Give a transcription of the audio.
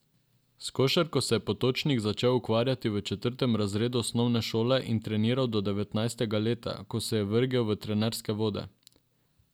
S košarko se je Potočnik začel ukvarjati v četrtem razredu osnovne šole in treniral do devetnajstega leta, ko se je vrgel v trenerske vode.